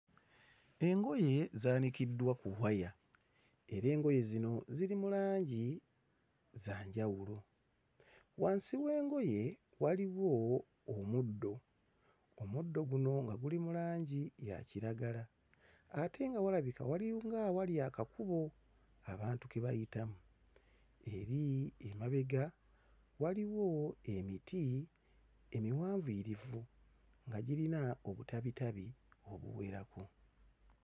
Engoye zaanikiddwa ku waya. Era engoye zino ziri mu langi za njawulo. Wansi w'engoye waliwo omuddo. Omuddo guno nga guli mu langi ya kiragala. Ate nga walabika walinga awali akakubo abantu ke bayitamu. Eri emabega waliwo emiti emiwanvuyirivu nga girina obutabitabi obuwerako.